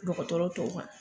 Dɔgɔtɔrɔ tɔw ma.